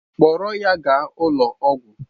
Kpọrọ ya gaa ụlọ ọgwụ!